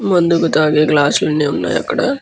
మందుకు తాగే గ్లాస్ లు అన్ని వున్నాయ్ అక్కడ.